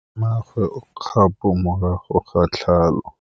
Mmagwe o kgapô morago ga tlhalô.